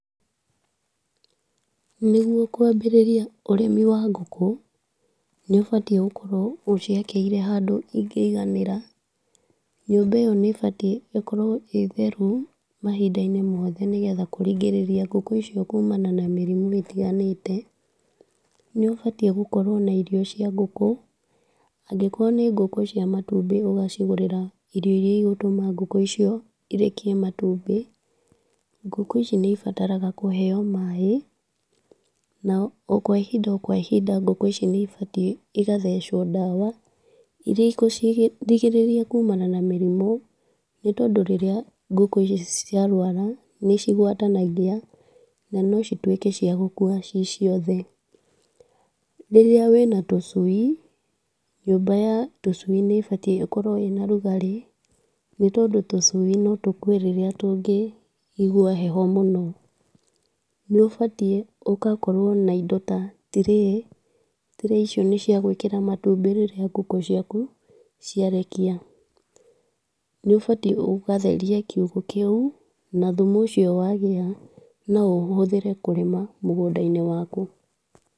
Nĩgũo kwambĩrĩria ũrĩmi wa ngũkũ nĩũbatie gũkorwo ũciakĩire handũ ingĩiganĩra. Nyũmba iyo nĩbatiĩ ĩkorwo ĩtheru mahinda-inĩ mothe, nĩgetha kũringĩrĩria ngũkũ icio kumana na mĩrimũ itiganĩte. Nĩũbatiĩ gũkorwo na irio cia ngũkũ. Angĩkorwo nĩ ngũkũ cia matumbĩ ũgacigũrĩra irio iria igũtũma ngũkũ icio irekie matumbĩ. Ngũkũ ici nĩibataraga kũheo maaĩ, na o kwa ihinda kwa ihinda ngũkũ ici nĩibatiĩ igathecwo ndawa iria igucirigĩrĩria kũmana na mĩrimũ, nĩ tondũ rĩrĩa ngũkũ ici ciarwara nĩcigwatanagia na no cituĩke cia gũkua ciciothe. Rĩrĩa wina tũcui, nyũmba ya tũcui nĩbatiĩ gũkorwo ĩna ũrũgarĩ, nĩ tondũ tũcui no tũkue rĩrĩa tũngĩigua heho mũno. Nĩũbatiĩ ũgakorwo na indo ta tray. Tray icio nĩciagwĩkĩra matumbĩ rĩrĩa ngũkũ ciaku ciarekia. Nĩũbatie ũgatheria kiugo kĩu na thumu ũcio wagĩa no ũhũthĩre kũrĩma mũgũnda-inĩ waku.